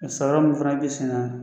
Samara min fana bɛ sen na